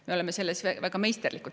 Me oleme selles väga meisterlikud.